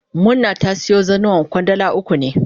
Murna ta siyo zannuwan Kwandala uku ne.